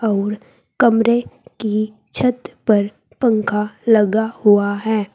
अउर कमरे की छत पर पंखा लगा हुआ है।